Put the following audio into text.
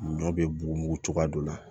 Ɲɔ be bugun cogoya dɔ la